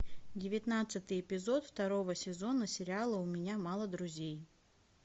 девятнадцатый эпизод второго сезона сериала у меня мало друзей